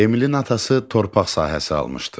Emilin atası torpaq sahəsi almışdı.